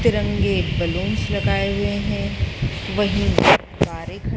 तिरंगे बलूंस लगाए हुए हैं वहीं कारें ख--